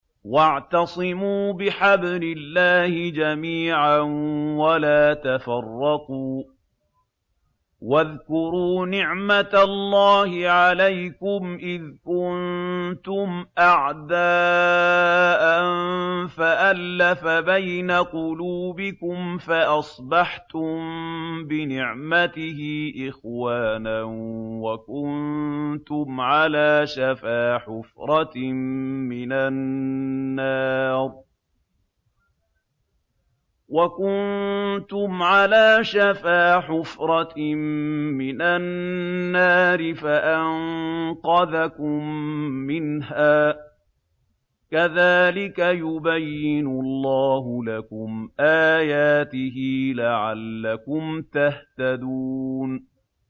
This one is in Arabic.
وَاعْتَصِمُوا بِحَبْلِ اللَّهِ جَمِيعًا وَلَا تَفَرَّقُوا ۚ وَاذْكُرُوا نِعْمَتَ اللَّهِ عَلَيْكُمْ إِذْ كُنتُمْ أَعْدَاءً فَأَلَّفَ بَيْنَ قُلُوبِكُمْ فَأَصْبَحْتُم بِنِعْمَتِهِ إِخْوَانًا وَكُنتُمْ عَلَىٰ شَفَا حُفْرَةٍ مِّنَ النَّارِ فَأَنقَذَكُم مِّنْهَا ۗ كَذَٰلِكَ يُبَيِّنُ اللَّهُ لَكُمْ آيَاتِهِ لَعَلَّكُمْ تَهْتَدُونَ